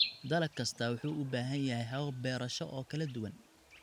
Dalag kastaa wuxuu u baahan yahay habab beerasho oo kala duwan.